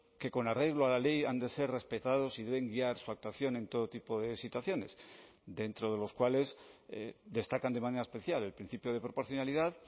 que con arreglo a la ley han de ser respetados y deben guiar su actuación en todo tipo de situaciones dentro de los cuales destacan de manera especial el principio de proporcionalidad